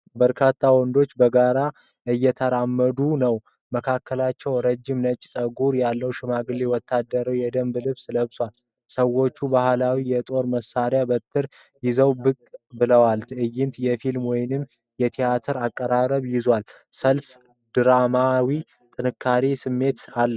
በርካታ ወንዶች በጋራ እየተራመዱ ነው። መካከላቸው ረጅም ነጭ ፀጉር ያለው ሽማግሌ ወታደራዊ የደንብ ልብስ ለብሷል። ሰዎቹ ባህላዊ የጦር መሳሪያና በትር ይዘው ብቅ ብለዋል። ትዕይንቱ የፊልም ወይንም የቴአትር አቀራረብ ይዟል። ሰልፉ ድራማዊና ጠንካራ ስሜት አለው።